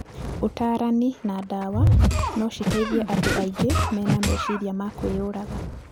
Ũtarani na ndawa no citeithie andũ aingĩ mena meciria ma kwĩyũraga.